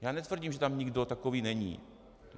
Já netvrdím, že tam nikdo takový není.